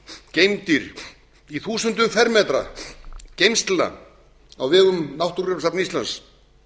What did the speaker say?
geymdir í þúsundum fermetra geymslna á vegum náttúrugripasafns íslands